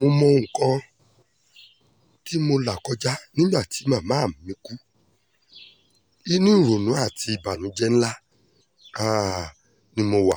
mo mọ um nǹkan tí mo là kọjá nígbà tí màmá mi kú inú ìrònú àti ìbànújẹ́ ńlá um ni mo wà